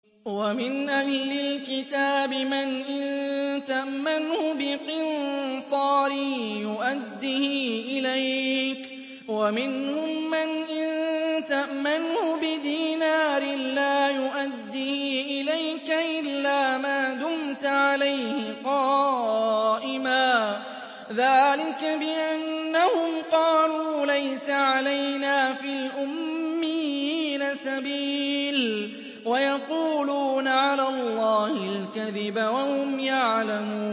۞ وَمِنْ أَهْلِ الْكِتَابِ مَنْ إِن تَأْمَنْهُ بِقِنطَارٍ يُؤَدِّهِ إِلَيْكَ وَمِنْهُم مَّنْ إِن تَأْمَنْهُ بِدِينَارٍ لَّا يُؤَدِّهِ إِلَيْكَ إِلَّا مَا دُمْتَ عَلَيْهِ قَائِمًا ۗ ذَٰلِكَ بِأَنَّهُمْ قَالُوا لَيْسَ عَلَيْنَا فِي الْأُمِّيِّينَ سَبِيلٌ وَيَقُولُونَ عَلَى اللَّهِ الْكَذِبَ وَهُمْ يَعْلَمُونَ